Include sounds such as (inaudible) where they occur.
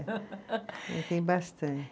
(laughs) Tem bastante.